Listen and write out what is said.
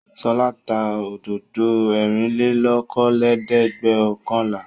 Ṣọlá tá òdòdó ẹ̀rìnlélókòólẹ́ẹ̀dẹ́gbẹ̀ọ̀kànlá.